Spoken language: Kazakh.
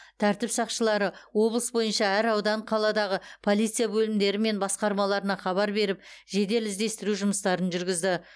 тәртіп сақшылары облыс бойынша әр аудан қаладағы полиция бөлімдері мен басқармаларына хабар беріп жедел іздестіру жұмыстарын жүргізді